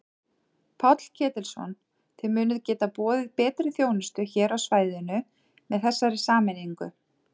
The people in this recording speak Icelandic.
Páll Ketilsson: Þið munið geta boðið betri þjónustu hér á svæðinu með þessari sameiningu?